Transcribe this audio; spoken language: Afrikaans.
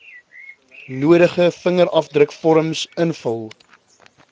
nodige vingerafdrukvorms invul